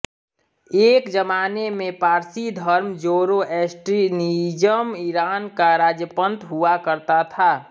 एक ज़माने में पारसी धर्म जोरोएस्ट्रिनिइजम ईरान का राजपंथ हुआ करता था